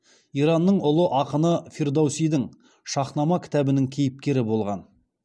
иранның ұлы ақыны фирдоусидің шаһнама кітабының кейіпкері болған